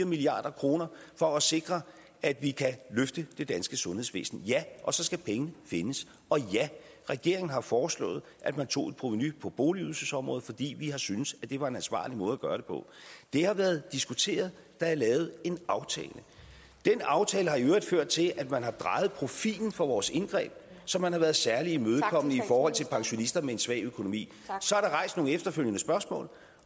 milliard kroner for at sikre at vi kan løfte det danske sundhedsvæsen ja og så skal pengene findes og ja regeringen har foreslået at man tog et provenu på boligydelsesområdet fordi vi har synes at det var en ansvarlig måde at gøre det på det har været diskuteret der er lavet en aftale den aftale har i øvrigt ført til at man har drejet profilen for vores indgreb så man har været særlig imødekommende i forhold til pensionister med en svag økonomi så er der rejst nogle efterfølgende spørgsmål